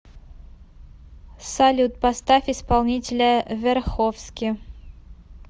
салют поставь исполнителя верховски